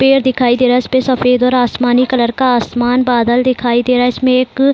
पेड़ दिखाई दे रहा है इसपे सफ़ेद और आसमानी कलर का आसमान बादल दिखाई दे रहा है इसमें एक --